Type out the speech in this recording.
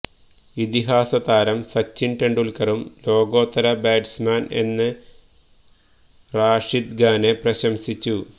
ഇതിഹാസ താരം സച്ചിന് തെണ്ടൂല്ക്കറും ലോകോത്തര ബാറ്റ്സ്മാന് എന്ന് റാഷിദ് ഖാനെ പ്രശംസിച്ചു